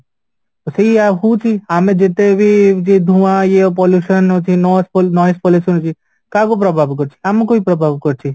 ସେଇଆ ହଉଚି ଆମେ ଯେତେବି ଏମିତି ଧୂଆଁ ଇଏ pollution ହଉଚି ନ noise noise pollution ହଉଚି କାହାକୁ ପ୍ରଭାବ କରୁଛି ଆମକୁ ହିଁ ପ୍ରଭାବ କରୁଛି